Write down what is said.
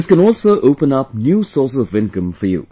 This can also open up new sources of income for you